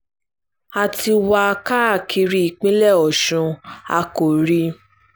a ti wá a káàkiri ìpínlẹ̀ ọ̀ṣun a kò rí i